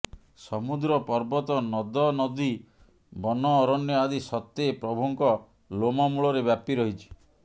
ସମୁଦ୍ର ପର୍ବତ ନଦନଦୀ ବନଅରଣ୍ୟ ଆଦି ସତେ ପ୍ରଭୁଙ୍କ ଲୋମମୂଳରେ ବ୍ୟାପି ରହିଛି